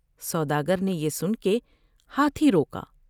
سودا گر نے بیان کے ہاتھی روکا ۔